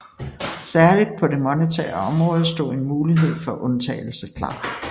Særligt på det monetære område stod en mulighed for undtagelse klar